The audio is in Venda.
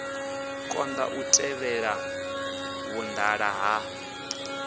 konḓa u tevhela vhuṱala ha